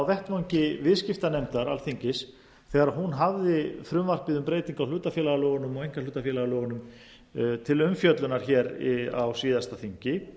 vettvangi viðskiptanefndar alþingis þegar hún hafði frumvarpið um breytingu hlutafélagalögunum til umfjöllunar á síðasta þingi